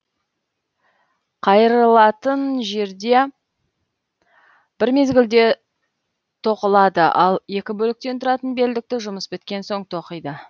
қайырлатын жерде бір мезгілде тоқылады ал екі бөліктен тұратын белдікті жұмыс біткен соң тоқиды